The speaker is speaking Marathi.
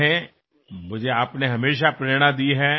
मला तुमच्याकडून नेहमीच प्रेरणा मिळत आली आहे